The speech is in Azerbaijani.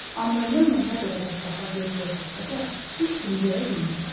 Amma Yalmar nə qədər ətrafa göz gəzdirsə də, heç kimi görə bilmirdi.